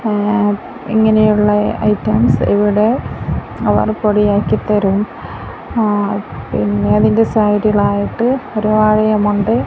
അ ഇങ്ങനെയുളള ഐറ്റംസ് ഇവിടെ അവർ പൊടിയാക്കി തരും ആഹ് പിന്നെ അതിൻ്റെ സൈഡ്ലായിട്ട് ഒര് വാഴയുമുണ്ട്.